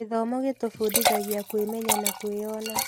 Gĩthomo gĩtũbundithagia kwĩmenya na kwĩyona